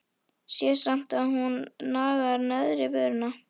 Sé samt að hún nagar neðri vörina.